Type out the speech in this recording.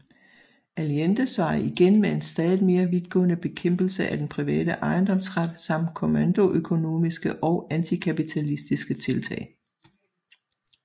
Allende svarede igen med en stadigt mere vidtgående bekæmpelse af den private ejendomsret samt kommandoøkonomiske og antikapitalistiske tiltag